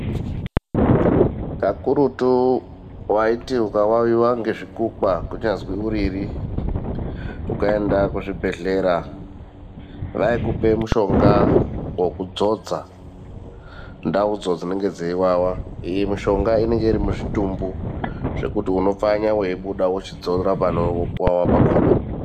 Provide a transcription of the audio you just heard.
Kakurutu waiti ukawawiwa ngezvikukwa kunyazwi uriri ukaenda kuzvibhehlera vaikupa mushonga wokudzodza ndaudzo dzinenge dzeiwawa zvekuti mushonga inenge iri muzvitumbu ndaudzo wochidzora panowawa pakona.